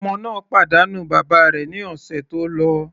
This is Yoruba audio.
Ọmọ náà pàdánù bàbá rẹ̀ ní ọ̀sẹ̀ tó lọ.